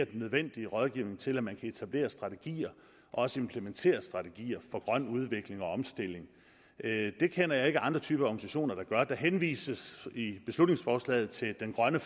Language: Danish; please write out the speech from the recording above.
den nødvendige rådgivning til at man kan etablere strategier og også implementere strategier for grøn udvikling og omstilling det kender jeg ikke andre typer organisationer der gør der henvises i beslutningsforslaget til grøn